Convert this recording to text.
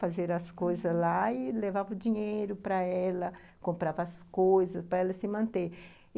Fazer as coisas, aham, lá e levava o dinheiro para ela, comprava as coisas para ela se manter.